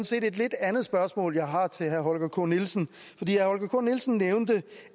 set et lidt andet spørgsmål jeg har til herre holger k nielsen herre holger k nielsen nævnte